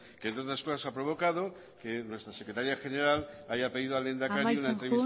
que entre otras cosas ha provocado que nuestra secretaría general haya pedido al lehendakari amaitzen joan prieto jauna una entrevista